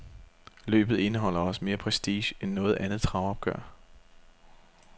Løbet indeholder også mere prestige end noget andet travopgør.